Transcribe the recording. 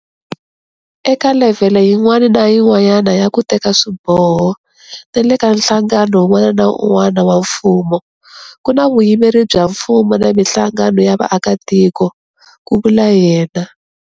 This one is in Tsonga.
Eka levhele yin'wana na yin'wana ya ku teka swiboho na le ka nhlangano wun'wana na wun'wana wa mfumo, ku na vuyimeri bya mfumo na mihlangano ya vaakitiko, ku vula yena.